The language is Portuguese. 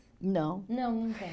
Não. Não, não tem.